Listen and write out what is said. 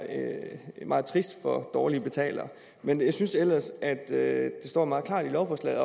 er meget trist for dårlige betalere men jeg synes ellers at det står meget klart i lovforslaget